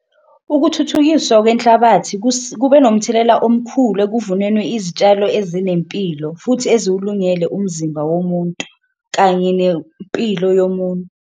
Ukuthuthukiswa kwenhlabathi kube nomthelela omkhulu ekuvunenwi izitshalo ezinempilo futhi eziwulungele umzimba womuntu, kanye nempilo yomuntu.